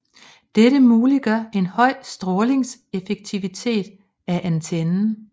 Dette muliggør en høj strålingseffektivitet af antennen